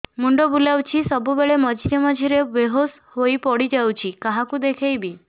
ମୁଣ୍ଡ ବୁଲାଉଛି ସବୁବେଳେ ମଝିରେ ମଝିରେ ବେହୋସ ହେଇ ପଡିଯାଉଛି କାହାକୁ ଦେଖେଇବି